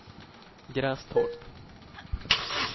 Grästorp